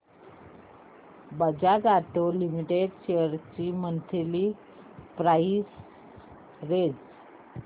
Bajaj auto limited shares ची monthly price range